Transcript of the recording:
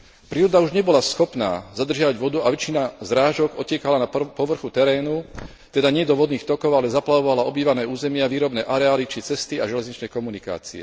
Príroda už nebola schopná zadržiavať vodu a väčšina zrážok odtekala na povrchu terénu, teda nie do vodných tokov, a zaplavovala obývané územia, výrobné areály či cesty a železničné komunikácie.